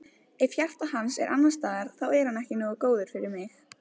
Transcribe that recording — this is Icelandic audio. Ef að hjarta hans er annars staðar þá er hann ekki nógu góður fyrir mig.